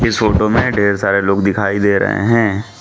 इस फोटो में ढेर सारे लोग दिखाई दे रहे हैं।